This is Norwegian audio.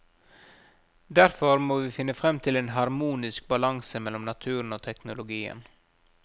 Derfor må vi finne frem til en harmonisk balanse mellom naturen og teknologien.